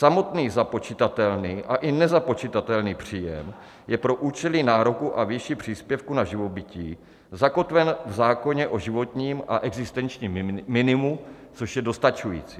Samotný započitatelný a i nezapočitatelný příjem je pro účely nároku a výši příspěvku na živobytí zakotven v zákoně o životním a existenčním minimu, což je dostačující.